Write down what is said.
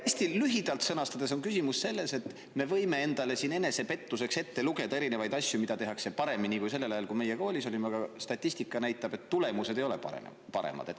Hästi lühidalt sõnastades on küsimus selles, et me võime endale enesepettuseks ette lugeda erinevaid asju, mida tehakse paremini kui sellel ajal, kui meie koolis olime, aga statistika näitab, et tulemused ei ole paremad.